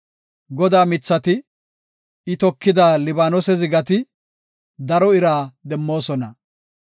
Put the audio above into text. Godaa mithati, I tokida Libaanose zigati, daro ira demmoosona.